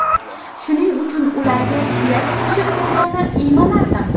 Shuning uchun ularga suyak qo‘shib bergani iymanardim .